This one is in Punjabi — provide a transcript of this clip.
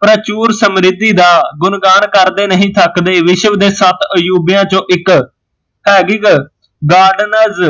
ਪਰਾਚੂਰ ਸਮਰੀਤੀ ਦਾ ਗੁਣਗਾਣ ਕਰਦੇ ਨਹੀਂ ਥੱਕਦੇ, ਵਿਸ਼ਵ ਦੇ ਸੱਤ ਅਜੂਬਿਆ ਚੋਂ ਇੱਕ ਹੇਬਿਗ ਗਾਰਡਨਜ਼